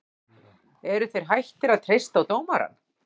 Eruð þeir hættir að treysta á dómarann?